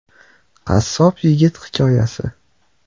Qassob yigit hikoyasi.